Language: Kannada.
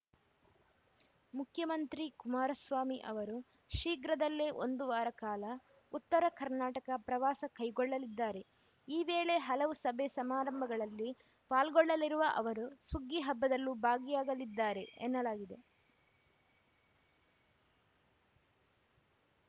ಮುಖ್ಯಮಂತ್ರಿ ಕುಮಾರಸ್ವಾಮಿ ಅವರು ಶೀಘ್ರದಲ್ಲೇ ಒಂದು ವಾರ ಕಾಲ ಉತ್ತರ ಕರ್ನಾಟಕ ಪ್ರವಾಸ ಕೈಗೊಳ್ಳಲಿದ್ದಾರೆ ಈ ವೇಳೆ ಹಲವು ಸಭೆಸಮಾರಂಭಗಳಲ್ಲಿ ಪಾಲ್ಗೊಳ್ಳಲಿರುವ ಅವರು ಸುಗ್ಗಿ ಹಬ್ಬದಲ್ಲೂ ಭಾಗಿಯಾಗಲಿದ್ದಾರೆ ಎನ್ನಲಾಗಿದೆ